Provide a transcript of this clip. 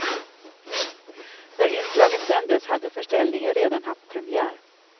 När inslaget sändes hade förställningen redan haft premiär.